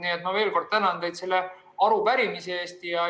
Nii et ma veel kord tänan teid selle arupärimise eest.